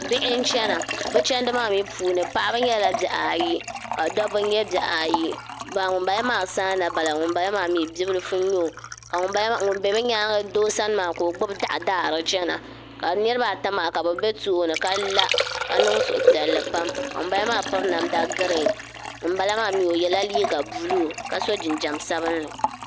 Bihi n chena bɛ chendi maa mee puuni paɣaba nyɛla bihi ayi ka dobba nyɛ bihi ayi ŋunbala maa saana biɛla ŋunbala maa bibilifu n nyɛ o ka ŋun be bɛ nyaanga doo sani maa ka o gbibi doɣu n daara chena ka nitiba ata maa ka bɛ be tooni ka la ka niŋ suhu piɛlli pam ka ŋun bala maa piri namda girin ŋun bala maa mee o yela liiga buluu ka so jinjiɛma sabinli.